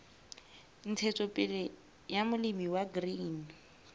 ntshetsopele ya molemi wa grain